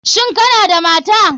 Shin Kana da mata?